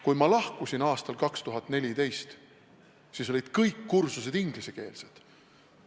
Kui ma lahkusin aastal 2014, siis olid kõik kursused ingliskeelsed.